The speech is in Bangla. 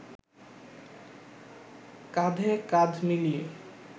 কাঁধে কাঁধ মিলিয়ে